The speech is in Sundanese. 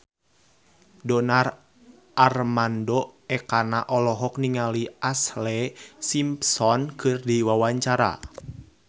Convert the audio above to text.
Donar Armando Ekana olohok ningali Ashlee Simpson keur diwawancara